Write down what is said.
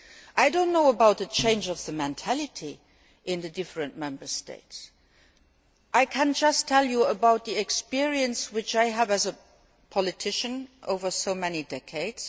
I do not know about a change of mentality in the different Member States. I can just tell you about the experience which I have as a politician over so many decades.